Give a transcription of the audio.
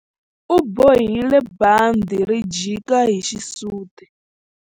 U bohile bandhi ri jika hi xisuti.